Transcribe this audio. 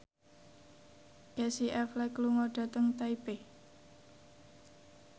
Casey Affleck lunga dhateng Taipei